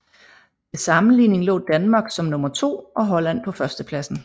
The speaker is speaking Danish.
Til sammenligning lå Danmark som nummer to og Holland på førstepladsen